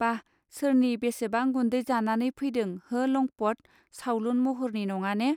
बाह सोरनि बेसेबां गुन्दै जानानै फैदों हो लंपत, सावलुन महरनि नङाने